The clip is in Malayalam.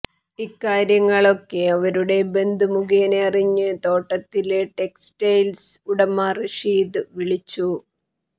ഇക്കാര്യങ്ങളൊക്കെ അവരുടെ ബന്ധു മുഖേന അറിഞ്ഞ് തോട്ടത്തില് ടെക്സ്റ്റെയില്സ് ഉടമ റഷീദ് വിളിച്ചു